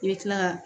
I bɛ kila ka